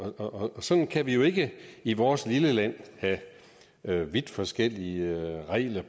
sådan kan vi jo ikke i vores lille land have vidt forskellige regler